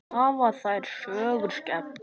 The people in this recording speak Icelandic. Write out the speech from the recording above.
Hafa þær sögur skemmt mörgum.